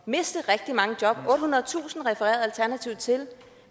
miste rigtig mange job ottehundredetusind refererede alternativet til